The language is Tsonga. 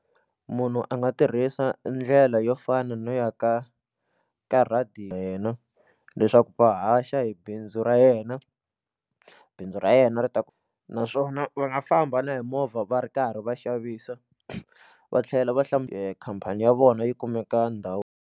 Munhu a nga tirhisa ndlela yo fana no ya ka ka ya yena leswaku va haxa hi bindzu ra yena bindzu ra yena ri ta ku naswona va nga famba na hi movha va ri karhi va xavisa va tlhela va khampani ya vona yi kumeka ndhawu.